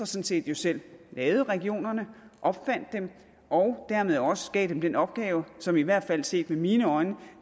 set selv lavede regionerne opfandt dem og dermed også gav dem den opgave som de i hvert fald set med mine øjne